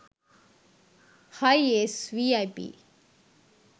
hiace vip